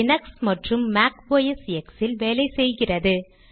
Linux மற்றும் Mac OS X இல் வேலை செய்கிறது